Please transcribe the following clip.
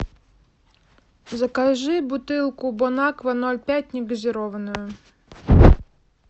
закажи бутылку бонаква ноль пять негазированную